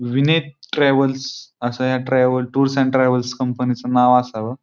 वीनेद travels अस या travels tour and travels च नाव असाव.